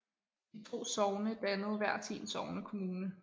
De to sogne dannede hver sin sognekommune